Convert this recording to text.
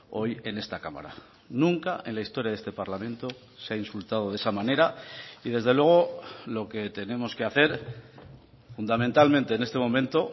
hoy en esta cámara nunca en la historia de este parlamento se ha insultado de esa manera y desde luego lo que tenemos que hacer fundamentalmente en este momento